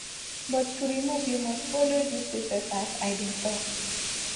but to remove you must follow due process as i bin tok